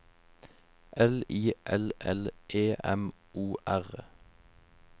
L I L L E M O R